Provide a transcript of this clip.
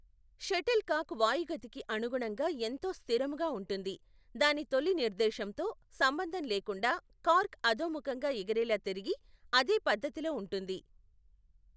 Shuttle కాక్ వాయుగతికి అనుగుణంగా ఎంతో స్థిరముగా ఉంటుంది, దాని తొలి నిర్దేశంతో సంబంధం లేకుండా, కార్క్ అధోముఖంగా ఎగిరేలా తిరిగి, అదే పధ్ధతిలో ఉంటుంది.